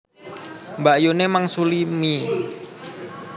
Mbakyune mangsuli mie